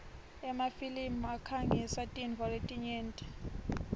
emafilimi akhangisa tintfo letinyenti